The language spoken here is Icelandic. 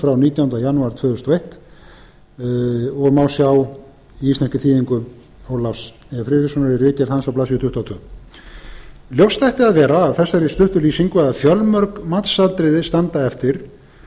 frá nítjándu janúar tvö þúsund og eins og má sjá í íslenskri þýðingu ólafs e friðrikssonar í ritgerð hans á blaðsíðu tuttugu og tvö ljóst ætti að vera af þessari stuttu lýsingu að fjölmörg matsatriði standa eftir